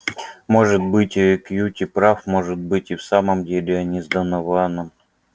может быть кьюти прав может быть и в самом деле они с донованом